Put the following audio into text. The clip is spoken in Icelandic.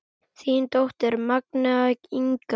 Þín dóttir, Magnea Inga.